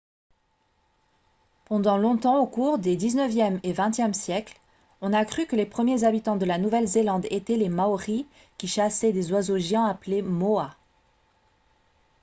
pendant longtemps au cours des xixe et xxe siècles on a cru que les premiers habitants de la nouvelle-zélande étaient les maoris qui chassaient des oiseaux géants appelés moas